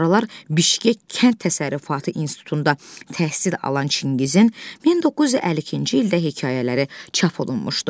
Sonralar Bişkek kənd təsərrüfatı institutunda təhsil alan Çingizin 1952-ci ildə hekayələri çap olunmuşdu.